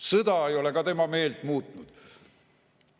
Sõda ei ole tema meelt muutnud.